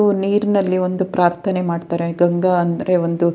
ಉ ನೀರ್ ನಲ್ಲಿ ಒಂದು ಪ್ರಾರ್ಥನೆ ಮಾಡ್ತಾರೆ ಗಂಗಾ ಅಂದ್ರೆ ಒಂದು--